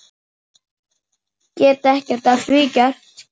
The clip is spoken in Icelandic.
Get ekkert að því gert.